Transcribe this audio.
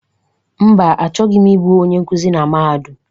Mba, achọghị m ịbụ onye nkuzi na Mahadum.